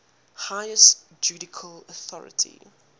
highest judicial authority